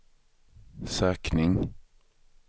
sökning